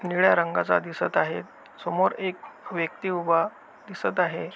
निळ्या रंगाचा दिसत आहे समोर एक व्यक्ति उभा दिसत आहे.